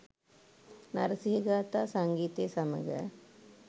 නරසිහ ගාථා සංගීතය සමඟ